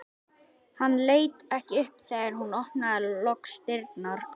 Hann leit ekki upp þegar hún opnaði loks dyrnar.